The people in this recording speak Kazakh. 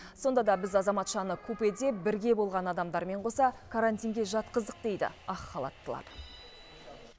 сонда да біз азаматшаны купеде бірге болған адамдармен қоса карантинге жатқыздық дейді ақ халаттылар